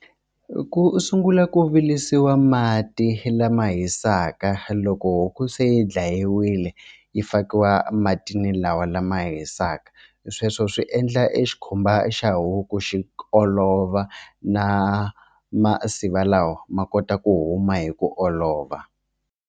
I ku sungula ku virisiwa mati lama hisaka loko huku se yi dlayiwile yi fakiwa matini lawa lama hisaka sweswo swi endla e xikhumba xa huku xi olova na masiva lawa ma kota ku huma hi ku olova.